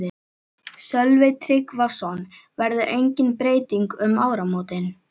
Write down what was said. Sölvi Tryggvason: Verður engin breyting um áramótin?